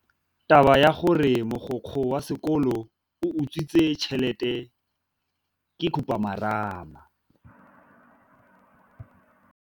Taba ya gore mogokgo wa sekolo o utswitse tšhelete ke khupamarama.